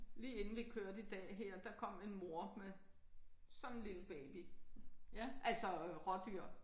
Lige inden vi kørte i dag her der kom en mor med sådan en lille baby altså rådyr